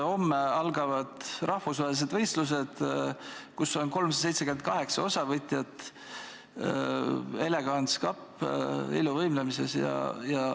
Homme algavad rahvusvahelised võistlused, kus on 378 osavõtjat, Elegance Cup iluvõimlemises.